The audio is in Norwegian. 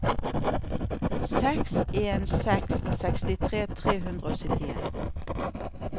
seks en en seks sekstitre tre hundre og syttien